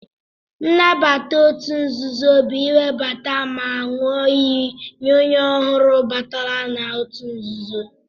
Nnabata otu nzuzo bu iwebata ma nyụọ iyi nye onye ọhụrụ batara nna otu nzuzo.